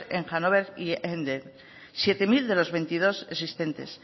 en hanover y emden siete mil de los veintidós existentes